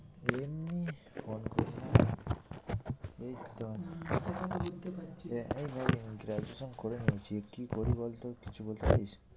এই তো graduation করে নিয়েছি কি করি বল তো? কিছু বলতে পারিস?